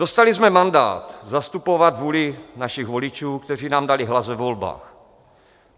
Dostali jsme mandát zastupovat vůli našich voličů, kteří nám dali hlas ve volbách.